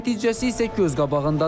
Nəticəsi isə göz qabağındadır.